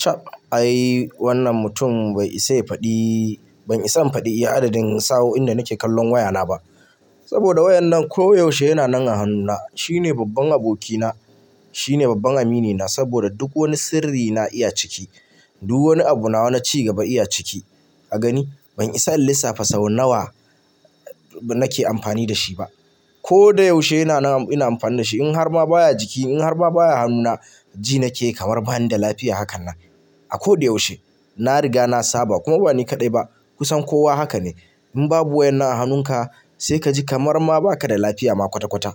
Chab ai wannan mutum bai isa faɗi, ban isa faɗi iya adadin sawo'in da nake kallon wayana ba. Saboda wayan nan ko yaushe yana nan a hannuna. Shine babban abokina, shine babban aminina saboda duk wani sirri na iya ciki. Duk wani abu nawa na ci gaba iya ciki. Ka gani ban isa in lissafa sau nawa nake amfani da shi ba. Ko da yaushe yana nan ina amfani da shi. In har ma baya jiki, in har ma baya hannuna ji nake kamar bani da lafiya hakan nan. A ko da yaushe na riga na saba kuma ba ni kaɗai ba. Kusan kowa haka ne. In babu wayan nan a hannunka sai ka ji kamar ma ba ka da lafiya ma kwata-kwata.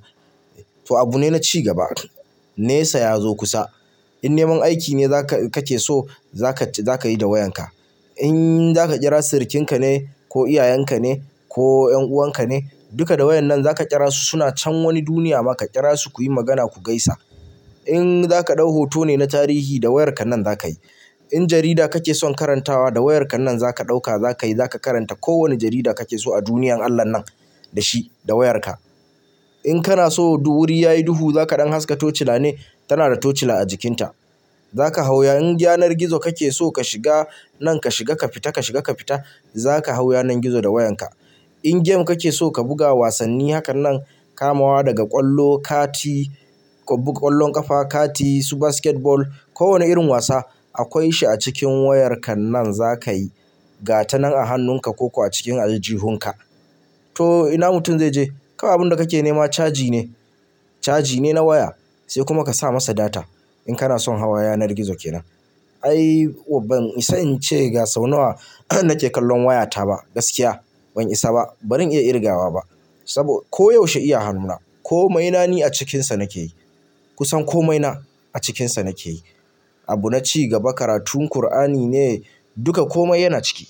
To abu ne na cigaba. Nesa ya zo kusa. In neman aiki ne za ka, ka ke so za ka, za ka yi da wayanka. In za ka kira sirikinka ne ko iyayenka ne ko 'yan'uwanka ne, duka da wayan nan za ka kira su. Suna can wani duniya ma ka kira su kuyi magana ku gaisa. In za ka ɗau hotonu na tarihi da wayarka nan za ka yi. In jarida kake son karantawa da wayarka nan za ka ɗauka za ka yi, za ka karanta kowane jarida kake so a duniyar Allah nan da shi, da wayarka. In kana so wuri yayi duhu za ka ɗan haska tocila ne tana da tocila a jikinta. Za ka hau. In yanar gizo kake so ka shiga nan ka shiga ka fita, ka shiga ka fita za ka hau yanar gizo da wayanka. In game kake so ka buga wasanni hakan nan kamawa daga ƙwallo, kati, ƙwallon ƙafa, kati, su basketball ko wane irin wasa akwai shi a cikin wayarka nan za ka yi. Ga ta nan a hannunka ko a cikin aljihunka. To ina mutum zai je? Kaman abun da kake nema caji ne, caji ne na waya sai kuma ka sa masa data in kana son hawa yanar gizo kenan. Ai ban isa in ce ga sau nawa nake kallon wayata ba gaskiya ban isa ba. Ba zan iya ƙirgawa ba saboda ko yaushe iya hannuna. Komai na ni a cikinsa nake yi. Kusan komai na a cikinsa nake yi. Abu na cigaba. Karatun Kur'ani ne duka komai yana ciki.